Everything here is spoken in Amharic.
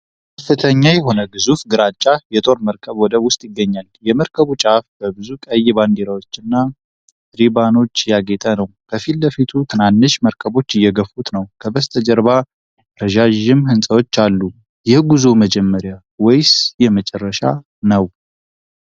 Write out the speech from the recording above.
ከፍተኛ የሆነ ግዙፍ ግራጫ የጦር መርከብ ወደብ ውስጥ ይገኛል። የመርከቡ ጫፍ በብዙ ቀይ ባንዲራዎችና ሪባኖች ያጌጠ ነው። ከፊት ለፊቱ ትናንሽ መርከቦች እየገፉት ነው። ከበስተጀርባ ረዣዥም ህንጻዎች አሉ። የጉዞው መጀመሪያ ወይስ የመጨረሻ ነው?